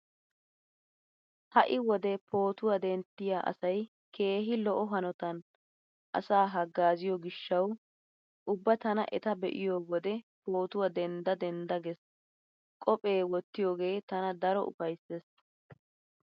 Ha'i wode pootuwaa denttiyaa asay keehi lo'o hanotan asaa haggaaziyo gishshawu ubba tana eta be'iyo wode pootuwaa dendda dendda gees. Qophee wottiyogee tana daro ufayssees.